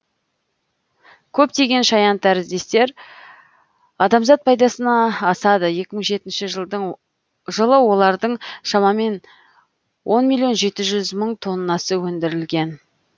көптеген шаянтәріздестер адамзат пайдасына асады екі мың жетінші жылы олардың шамамен он миллион жеті жүз мың тоннасы өндірілген